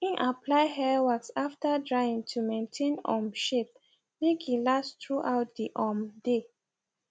im apply hair wax after drying to maintain um shape make e last through out the um day